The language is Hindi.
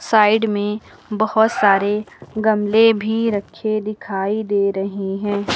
साइड में बहोत सारे गमले भी रखे दिखाई दे रहे हैं।